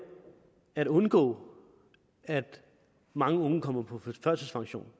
at undgå at mange unge kommer på førtidspension